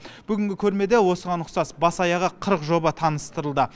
бүгінгі көрмеде осыған ұқсас бас аяғы қырық жоба таныстырылды